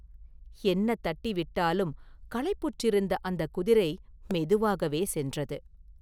என்ன தட்டி விட்டாலும் களைப்புற்றிருந்த அந்தக் குதிரை மெதுவாகவே சென்றது.